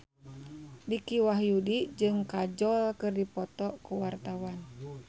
Dicky Wahyudi jeung Kajol keur dipoto ku wartawan